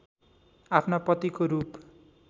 आफ्ना पतिको रूप